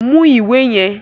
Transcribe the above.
Mú ìwé yẹn!